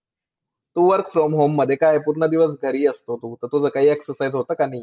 Work from home मध्ये काय होतं, घरी असतो तू, त्यामुळे exercise होतं का नाही?